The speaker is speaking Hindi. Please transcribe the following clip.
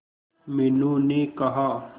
मीनू ने कहा